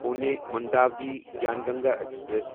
Pune Manduadih Gyan Ganga express